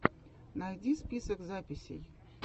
найди список записей